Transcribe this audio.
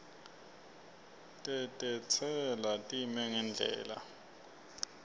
tetentsela time ngendlela